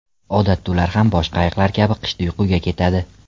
Odatda ular ham boshqa ayiqlar kabi qishda uyquga ketadi.